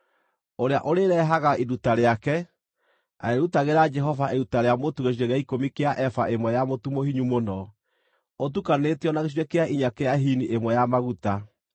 ũrĩa ũrĩĩrehaga iruta rĩake, arĩĩrutagĩra Jehova iruta rĩa mũtu gĩcunjĩ gĩa ikũmi kĩa eba ĩmwe ya mũtu mũhinyu mũno, ũtukanĩtio na gĩcunjĩ kĩa inya kĩa hini ĩmwe ya maguta.